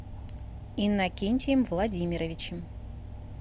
иннокентием владимировичем